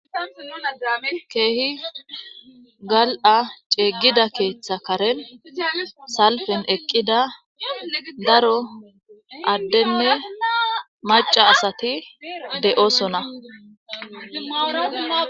keehi gal7a ceeggida keeththa karen salfen eqqida daro addenne maca asati de7osona